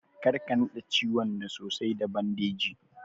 Karka naɗe ciwon da sosai da bandeji.